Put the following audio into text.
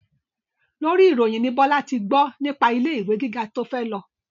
Lórí ìròyìn ni Bọ́lá ti gbọ́ nípa ilé ìwé gíga tí ó fẹ́ lọ